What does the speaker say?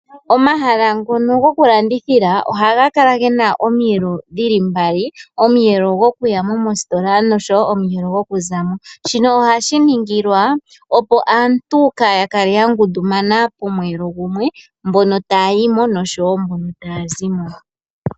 Omahala ngono gokulandithila ohaga kala gena omiyelo dhili mbali. Omuyelo gwokuya mositola noshowo gwokuzamo shino ohashi ningilwa, opo aantu kaya kale ya ngundumana posheelo mbono taya zimo naambo taye yamo.